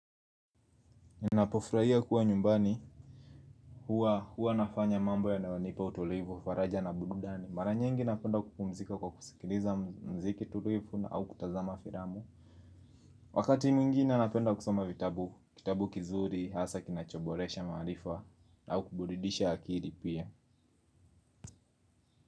Ninapofurahia kuwa nyumbani huwa nafanya mambo yanayonipa utulivu faraja na burudani. Mara nyingi napenda kupumzika kwa kusikiliza mziki tulivu au kutazama filamu. Wakati mwingine napenda kusoma vitabu, kitabu kizuri, hasa kinachoboresha maarifa au kuburidisha akili pia.